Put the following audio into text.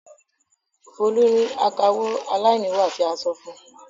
Folú rí akawó aláìníwà tí a sọ fún un.